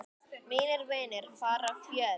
Mínir vinir fara fjöld